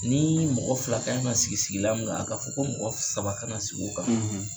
Ni mɔgɔ fila kan ka sigi sigilan min kan , a ka fɔ ko mɔgɔ saba ka na sigi o kan